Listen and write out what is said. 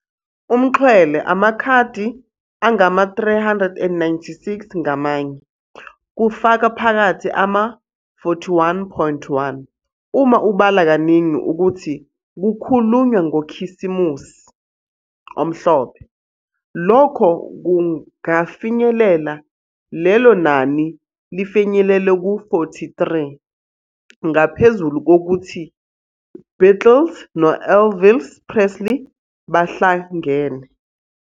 umxhwele- amakhadi angama-396 ngamanye, kufaka phakathi ama-41. 1 Uma ubala kaningi ukuthi "kukhulunywa ngoKhisimusi" omhlophe, lokho kungafinyelela lelo nani lifinyelele ku-43, ngaphezulu kokuthi Beatles no-Elvis Presley bahlangene.